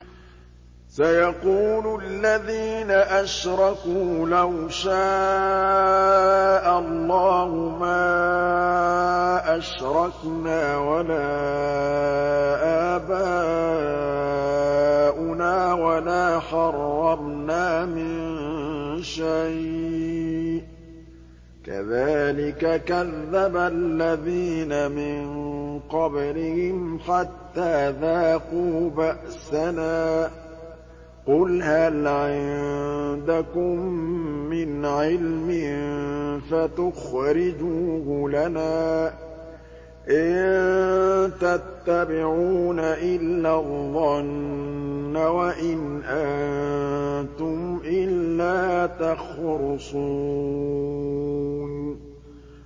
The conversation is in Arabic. سَيَقُولُ الَّذِينَ أَشْرَكُوا لَوْ شَاءَ اللَّهُ مَا أَشْرَكْنَا وَلَا آبَاؤُنَا وَلَا حَرَّمْنَا مِن شَيْءٍ ۚ كَذَٰلِكَ كَذَّبَ الَّذِينَ مِن قَبْلِهِمْ حَتَّىٰ ذَاقُوا بَأْسَنَا ۗ قُلْ هَلْ عِندَكُم مِّنْ عِلْمٍ فَتُخْرِجُوهُ لَنَا ۖ إِن تَتَّبِعُونَ إِلَّا الظَّنَّ وَإِنْ أَنتُمْ إِلَّا تَخْرُصُونَ